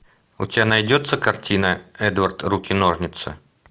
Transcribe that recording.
у тебя найдется картина эдвард руки ножницы